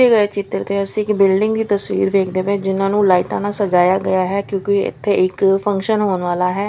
ਦਿੱਤੇ ਗਏ ਚਿੱਤਰ ਤੇ ਅਸੀਂ ਇੱਕ ਬਿਲਡਿੰਗ ਦੀ ਤਸਵੀਰ ਵੇਖਦੇ ਪਏ ਜਿਨ੍ਹਾਂ ਨੂੰ ਲਾਈਟਾਂ ਨਾਲ ਸਜਾਇਆ ਗਿਆ ਹੈ ਕਿਉਂਕਿ ਇੱਥੇ ਇੱਕ ਫੰਕਸ਼ਨ ਹੋਣ ਵਾਲਾ ਹੈ।